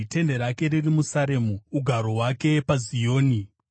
Tende rake riri muSaremu, ugaro hwake paZioni.